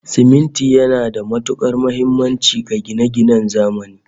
Siminti yana da matukar muhimmanci ga gine-ginen zamani